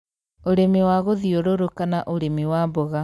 ũrĩmi wa gũthiũrũrũka na ũrĩmi wa mboga